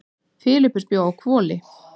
Filippus bjó að Hvoli.